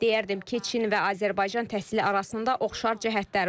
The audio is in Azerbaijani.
Deyərdim ki, Çin və Azərbaycan təhsili arasında oxşar cəhətlər var.